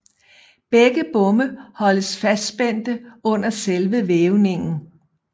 Begge bomme holdes fastspændte under selve vævningen